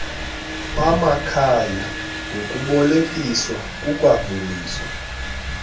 bamakhaya ngokubolekiswa kukwaveliswa